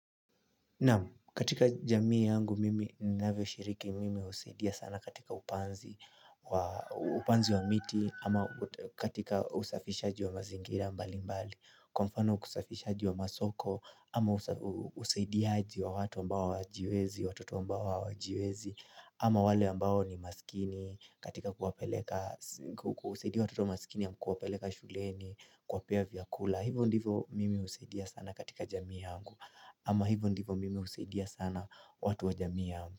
Naam, katika jamii yangu mimi ninavyoshiriki mimi husaidia sana katika upanzi, upanzi wa miti ama katika usafishaji wa mazingira mbali mbali, kwa mfano usafishaji wa masoko ama usaidiaji wa watu mbao hawajiwezi, watoto ambao hawajiwezi ama wale ambao ni masikini, katika kuwapeleka, kusaidia watoto masikini ya kuwapeleka shuleni kuwapea vyakula. Hivo ndivo mimi husidia sana katika jamii yangu Ama hivo ndivo mimi husidia sana, watu wa jamii yangu.